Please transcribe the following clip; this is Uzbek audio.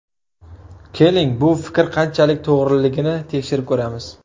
Keling, bu fikr qanchalik to‘g‘riligini tekshirib ko‘ramiz.